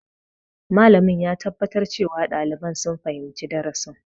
Malamin ya tabbatar cewa ɗaliban sun fahimci darasin.